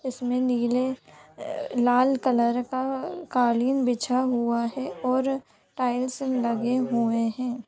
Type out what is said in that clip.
उसमे नीले ए लाल कलर का-- कालीन बिछा हुआ है और टाइल्स लगे हुए हैं।